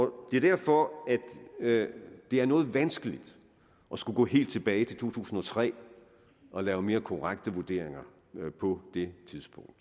det er derfor at det er noget vanskeligt at skulle gå helt tilbage til to tusind og tre og lave mere korrekte vurderinger på det tidspunkt